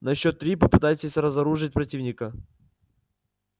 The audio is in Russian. на счёт три попытайтесь разоружить противника